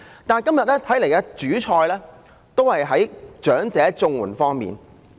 但是，今天的主菜仍是長者綜援這方面。